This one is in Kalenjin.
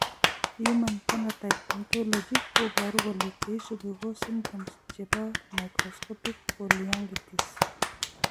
Human phenotype ontology koboru kole cheisubi ko symptoms chebo microscopic polyangiitis.